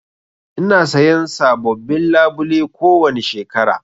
Ina sayan sabobbin labule kowani shekara.